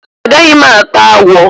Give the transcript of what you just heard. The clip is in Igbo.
A gaghi m ata agwo.